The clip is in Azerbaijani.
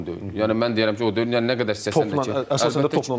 Yəni mən deyirəm ki, o deyil, yəni nə qədər istəsən də ki, əslində topla oyundur.